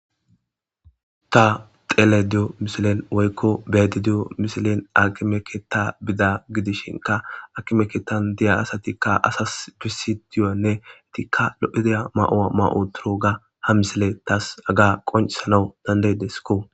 ta tele diyo mishilen woykko bedi diyo misilen akimeke ta bida gidishinka akimeketan diya asatikka asas gisi diyonne etikka lo7ideya ma7owa ma7o turoga ha misile taas aga qoncisanaw dandaydeskko